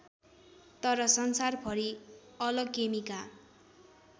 तर संसारभरि अलकेमीका